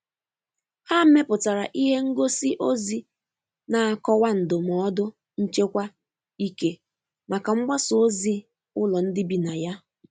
Ha mepụtara ihe ngosi ozi na akọwa ndụmọdụ nchekwa ike maka mgbasa ozi ụlọ ndị bi na ya.